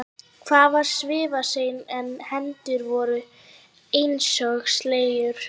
Hann var svifaseinn en hendurnar voru einsog sleggjur.